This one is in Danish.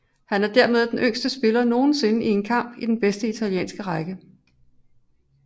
Han er dermed den yngste spiller nogensinde i en kamp i den bedste italienske række